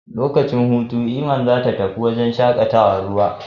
Lokacin hutu, Iman zata tafi wurin shaƙatawar ruwa.